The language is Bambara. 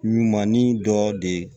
Ɲuman ni dɔ de ye